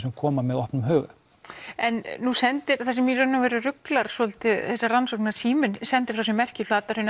sem koma með opnum huga en nú sendir það sem í raun og veru ruglar svolítið þessa rannsókn síminn sendir frá sér merki í Flatahrauni